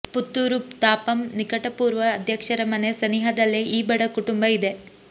ಪುತ್ತೂರು ತಾಪಂ ನಿಕಟಪೂರ್ವ ಅಧ್ಯಕ್ಷರ ಮನೆ ಸನಿಹದಲ್ಲೇ ಈ ಬಡ ಕುಟುಂಬ ಇದೆ